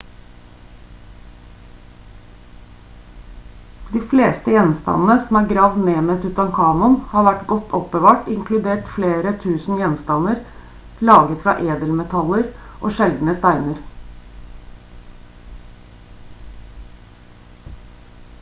de fleste gjenstandene som er gravd ned med tutankhamun har vært godt oppbevart inkludert flere 1000 gjenstander laget fra edelmetaller og sjeldne steiner